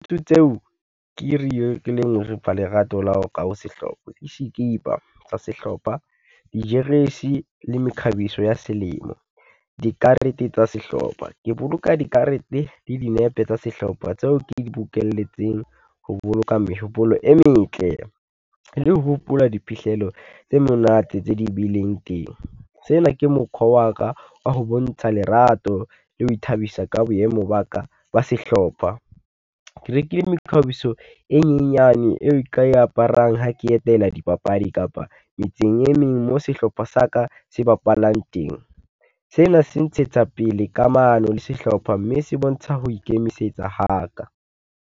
tseo ke lerato la ho ka ho sehlopha, ke sikipa tsa sehlopha, dijeresi le mekhabiso ya selemo. Dikarete tsa sehlopha, ke boloka dikarete le dinepe tsa sehlopha tseo ke di bokelletseng ho boloka mehopolo e metle, le ho hopola diphihlelo tse monate tse di bileng teng. Sena ke mokhwa wa ka, wa ho bontsha lerato le ho ithabisa ka boemo ba ka ba sehlopha. Ke rekile mekhabiso e menyane eo nka e aparang ha ke etela dipapadi kapa metseng e meng mo sehlopha sa ka se bapalang teng. Sena se ntshetsa pele kamano le sehlopha mme se bontsha ho ikemisetsa ha ka.